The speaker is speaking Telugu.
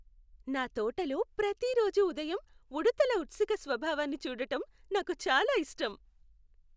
నా తోటలో ప్రతి రోజూ ఉదయం ఉడుతల ఉత్సుక స్వభావాన్ని చూడటం నాకు చాలా ఇష్టం.